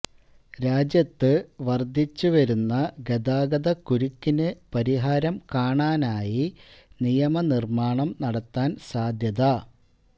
രാജ്യത്ത് വർദ്ധിച്ച് വരുന്ന ഗതാഗത കുരുക്കിന് പരിഹാരം കാണാനായി നിയമ നിർമ്മാണം നടത്താൻ സാധ്യത